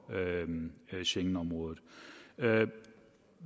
schengenområdet hvad er